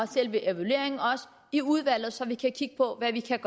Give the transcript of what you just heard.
selve evalueringen i udvalget så vi kan kigge på hvad vi kan